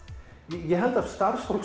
ég held að starfsfólk